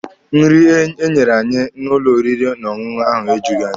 Nri enyere anyị n'ụlọ oriri n'ọṅụṅụ ahụ ejughi anyị afọ.